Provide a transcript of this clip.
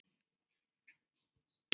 Þín Jóna Ósk.